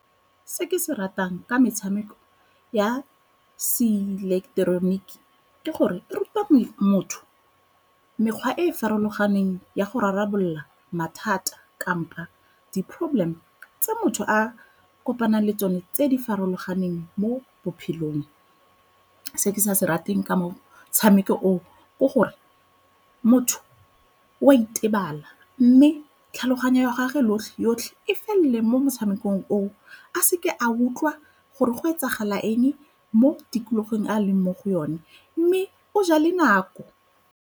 Se ke se ratang ka metshameko ya se ileketeroniki ke gore e ruta motho mekgwa e e farologaneng ya go rarabolola mathata kampo di-problem tse motho a kopanang le tsone tse di farologaneng. Se ke se ratang ka motshameko oo ke gore motho o a itebala mme tlhaloganyo ya gage yotlhe e felele mo motshamekong oo a seke a utlwa gore go etsagala eng mo tikologong e a leng mo go yone mme o ja le nako.